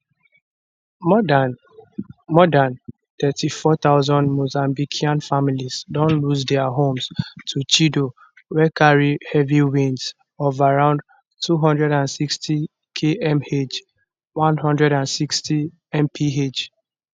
more dan more dan 34000 mozambican families don lose dia homes to chido wey carry heavy winds of around 260kmh 160mph